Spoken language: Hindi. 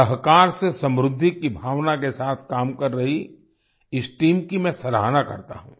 सहकार से समृद्धि की भावना के साथ काम कर रही इस टीम की मैं सराहना करता हूँ